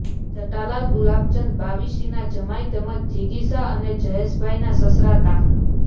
જટાલાલ ગુલાબચંદ બાવીશીના જમાઇ તેમજ જીગીશા અને જયેશભાઇના સસરા તા